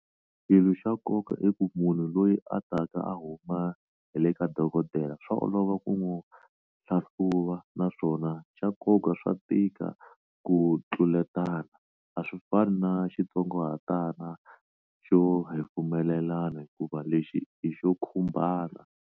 Xilo xa nkoka i ku munhu loyi a taka a huma hi le ka dokodela swa olova ku n'wi hlahluva naswona xa nkoka swa tika ku tluletana, a swi fani na xitsongahatana xo hefemulelana, hikuva lexi i xo khumbana.